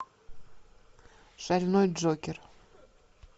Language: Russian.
шальной джокер